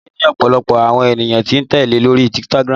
Nike ní ọ̀pọ̀lọpọ̀ àwọn ènìyàn tí ń tẹ́lẹ̀ lórí Instagram